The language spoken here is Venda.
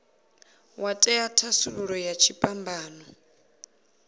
wa ṅea thasululo ya dziphambano